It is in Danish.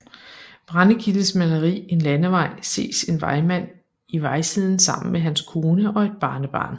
Brendekildes maleri En Landevej ses en vejmand i vejsiden sammen med hans kone og et barnebarn